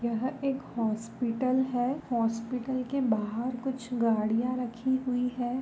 यह एक हॉस्पिटल है हॉस्पिटल के बाहर कुछ गाडियां रखी हुई है।